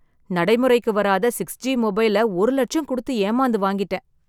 நடைமுறைக்கு வராத , six G மொபைல்ல ஒரு லட்சம் கொடுத்து ஏமாந்து வாங்கிட்டேன்.